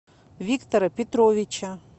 виктора петровича